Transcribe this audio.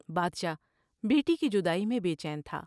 بادشاہ بیٹی کی جدائی میں بے چین تھا ۔